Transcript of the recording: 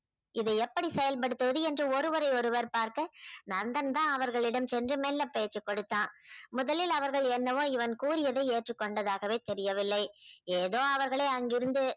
இதை எப்படி செயல்படுத்துவது என்று ஒருவரை ஒருவர் பார்க்க நந்தன் தான் அவர்களிடம் சென்று மெல்ல பேச்சுக்கொடுத்தான். முதலில் அவர்கள் என்னவோ இவன் கூறியதை ஏற்றுக்கோண்டதாகவே தெரியவில்லை. ஏதோ அவர்களை அங்கிருந்து